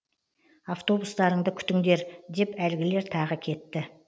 автобустарыңды күтіңдер деп әлгілер тағы кетті